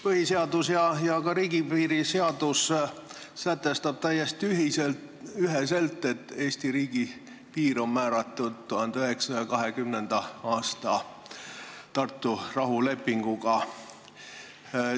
Põhiseadus ja ka riigipiiri seadus sätestavad täiesti üheselt, et Eesti piir on määratud 1920. aasta Tartu rahulepinguga.